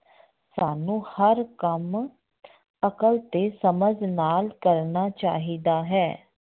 ਸਾਨੂੰ ਹਰ ਕੰਮ ਅਕਲ ਤੇ ਸਮਝ ਨਾਲ ਕਰਨਾ ਚਾਹੀਦਾ ਹੈ।